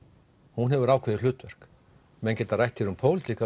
hún hefur ákveðið hlutverk menn geta rætt hér um pólitík